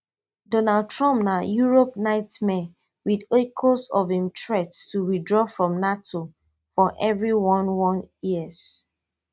donald trump na europe nightmare wit echoes of im threat to withdraw from nato for evri one one ears